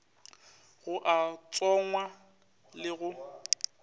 go a tsongwa le go